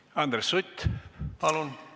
Andres Sutt, palun!